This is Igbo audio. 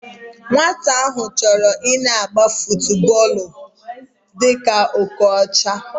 Nwata ahu choro ina agba futuboolu dika Okocha